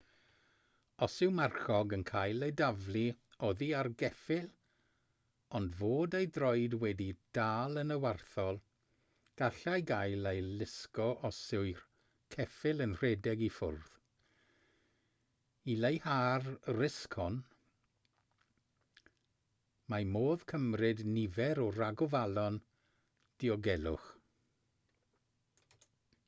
os yw marchog yn cael ei daflu oddi ar geffyl ond fod ei droed wedi'i dal yn y warthol gallai gael ei lusgo os yw'r ceffyl yn rhedeg i ffwrdd i leihau'r risg hon mae modd cymryd nifer o ragofalon diogelwch